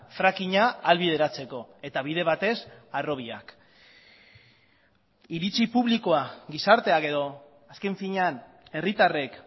frackinga ahalbideratzeko eta bide batez harrobiak iritzi publikoa gizarteak edo azken finean herritarrek